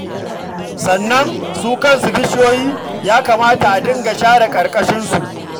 Sannan su kansu bishiyoyi, ya kamata a dinga share ƙarƙashinsu.